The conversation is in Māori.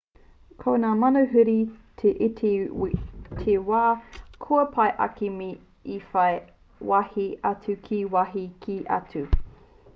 ko ngā manuhiri he iti te wā kua pai ake me i whai wāhi atu ki wāhi kē atu